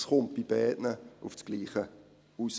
Es kommt bei beiden auf dasselbe heraus.